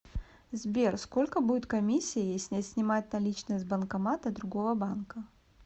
сбер сколько будет комиссия если снимать наличные с банкомата другого банка